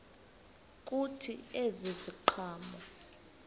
kuthi ezi ziqhamo